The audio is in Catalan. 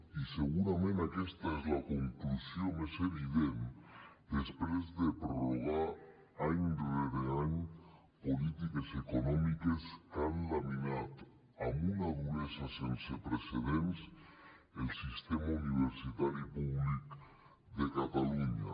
i segurament aquesta és la conclusió més evident després de prorrogar any rere any polítiques econòmiques que han laminat amb una duresa sense precedents el sistema universitari públic de catalunya